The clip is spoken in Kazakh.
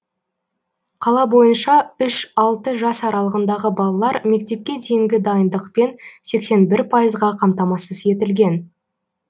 қала бойынша үш алты жас аралығындағы балалар мектепке дейінгі дайындықпен сексен бір пайызға қамтамасыз етілген